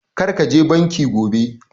Kar ka je banki gobe!